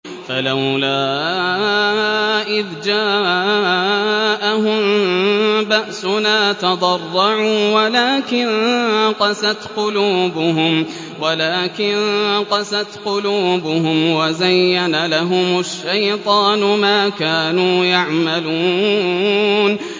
فَلَوْلَا إِذْ جَاءَهُم بَأْسُنَا تَضَرَّعُوا وَلَٰكِن قَسَتْ قُلُوبُهُمْ وَزَيَّنَ لَهُمُ الشَّيْطَانُ مَا كَانُوا يَعْمَلُونَ